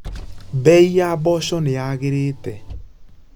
Mbei ya mboco nĩyagĩrĩte.